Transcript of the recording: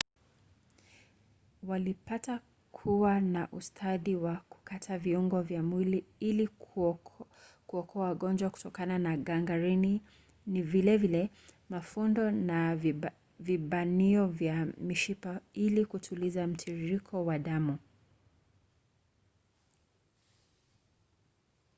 walipata kuwa na ustadi wa kukata viungo vya mwili ili kuokoa wagonjwa kutokana na gangrini na vile vile mafundo na vibanio vya mishipa ili kutuliza mtiririko wa damu